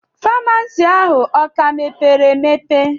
Faamasi ahu o ka mepere emepe?